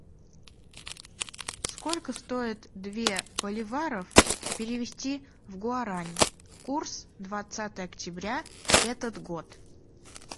сколько стоит две боливаров перевести в гуарани курс двадцатое октября этот год